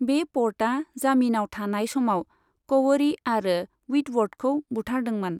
बे प'र्टआ जामिनाव थानाय समाव क'वरी आरो व्हिटवर्थखौ बुथारदोंमोन।